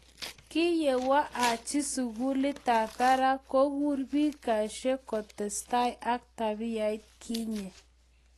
Kiyewo aji sukulitab barak kuger biik cachee kotesetai ak tabiait kinye.